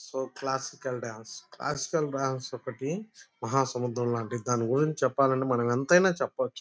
So classical dance classical dance ఒకటి మహా లాంటిది దాని గురించి చెప్పాలంటే మనమెంతిన చెప్పొచ్చు.